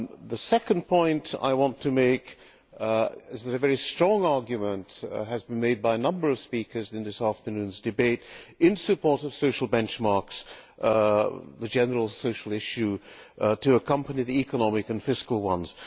The second point I want to make is that a very strong argument has been made by a number of speakers in this afternoon's debate in support of social benchmarks, the general social issue to accompany the economic and fiscal ones.